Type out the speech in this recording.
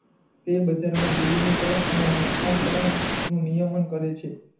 તે બજાર મા વિલી ની નિયમન કરે છે